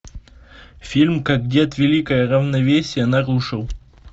фильм как дед великое равновесие нарушил